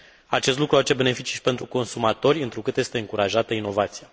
Acest lucru va aduce beneficii și pentru consumatori întrucât este încurajată inovația.